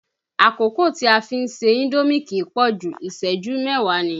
Àkókò tí a fi ń ṣe indomi kì í pọ̀jù, ìṣẹ́jú mẹ́wáà ni.